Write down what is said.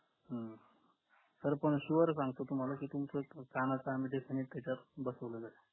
हम्म sir पण sure सांगतो तुम्हाला की तुमचं कणाच आम्ही त्याच्यामदे बसवलेलंय